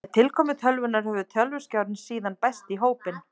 Með tilkomu tölvunnar hefur tölvuskjárinn síðan bæst í hópinn.